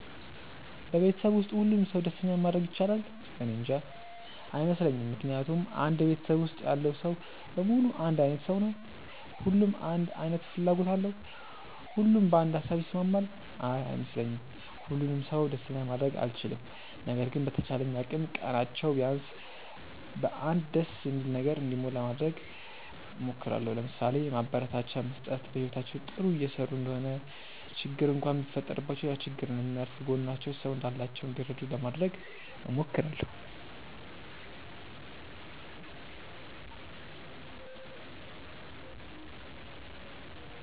በቤተሰብ ውስጥ ሁሉንም ሰው ደስተኛ ማድረግ ይቻላል? እኔንጃ። አይመስለኝም ምክንያቱም አንድ ቤተሰብ ውስጥ ያለው ሰው በሙሉ አንድ አይነት ሰው ነው? ሁሉም አንድ አይነት ፍላጎት አለው? ሁሉም በአንድ ሃሳብ ይስማማል? አይ አይመስለኝም። ሁሉንም ሰው ደስተኛ ማድረግ አልችልም። ነገር ግን በተቻለኝ አቅም ቀናቸው ቢያንስ በ አንድ ደስ በሚል ነገር እንዲሞላ ለማድረግ እሞክራለው። ለምሳሌ፦ ማበረታቻ መስጠት፣ በህይወታቸው ጥሩ እየሰሩ እንደሆነ ችግር እንኳን ቢፈጠረባቸው ያ ችግር እንደሚያልፍ፣ ከጎናቸው ሰው እንዳላቸው እንዲረዱ ለማድረግ እሞክራለው።